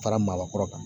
Fara maakɔrɔ kan